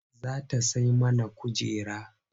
Za ta sai mana kujera.